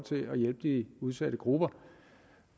hjælpe de udsatte grupper